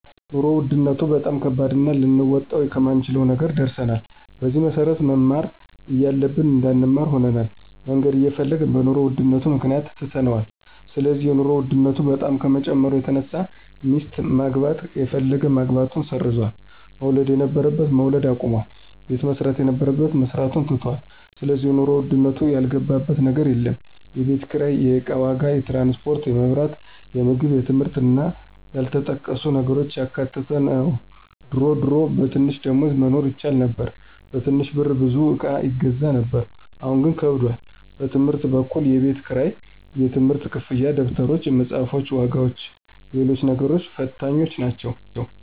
የኑሮ ውድነቱ በጣም ከባድና ልንወጣው ከማንችለው ነገር ደርሰናል። በዚህም መሰረት መማር እያለብን እንዳንማር ሆነናል፣ መነገድ እየፈለግን በኑሮ ውድነቱ ምክንያት ትተነዋል ስለዚህ የኑሮ ውድነቱ በጣም ከመጨመሩ የተነሳ ሚስት ማግባት የፈለገ ማግባቱን ሰርዟል፣ መውለድ የነበረበት መውለድ አቁሟል፣ ቤት መስራት የነበረበት መስራቱን ትቶታል ስለዚህ የኑሮ ውድነቱ ያልገባበት ነገር የለም፣ የቤት ኪራይ፣ የእቃ ዋጋ፣ ትራንስፖርት፣ የመብራት፣ የምግብ የትምህርት እና ያልተጠቀሱ ነገሮችን ያካተተ ነው ድሮ ድሮ በትንሽ ደሞዝ መኖር ይቻል ነበር በትንሽ ብር ብዙ እቃ ይገዛ ነበር አሁን ግን ከብዷል። በትምህርት በኩል የቤት ክራይ፣ የትምህርት ክፍያ፣ ደብተሮች፣ የመፅሐፍ ዋጋዎችና ሎሎችም ነገሮች ፈታኞች ናቸው።